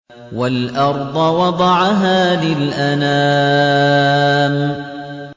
وَالْأَرْضَ وَضَعَهَا لِلْأَنَامِ